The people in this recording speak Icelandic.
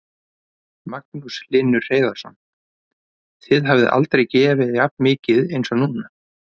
Magnús Hlynur Hreiðarsson: Þið hafið aldrei gefið jafn mikið eins og núna?